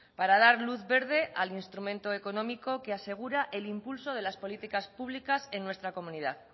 para dar luz verde al instrumento económico que asegura el impulso de las políticas públicas en nuestra comunidad